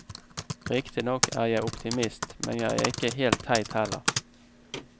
Riktignok er jeg optimist, men jeg er ikke helt teit heller.